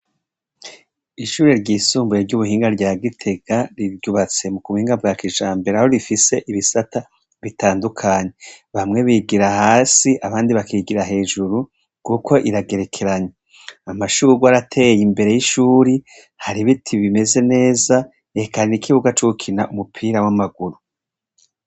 Ishure ryisumbuye ry'ubuhinga rya Gitega. Ryubatse mu buhinga bwa kijambere, aho rifise ibisata bitandukanye. Bamwe bigira hasi, abandi bakigira hejuru, kuko iragerekeranye. Amashurwe arateye imbere y'ishuri, har'ibiti bimeze neza, eka n'ikibuga co gukiniramwo umupira w'amaguru.